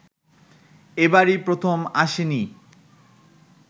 এবারই প্রথম আসেনি